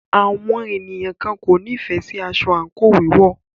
Àwọn ènìyàn kan kò nífẹẹ sí aṣọ àńkò wíwọ̀.